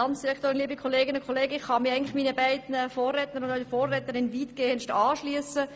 Ich kann mich meinen Vorrednern und Vorrednerinnen weitgehend anschliessen.